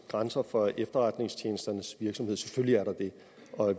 grænser for efterretningstjenesternes virksomhed selvfølgelig er der det